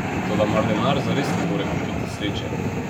Toda mar denar zares ne more kupiti sreče?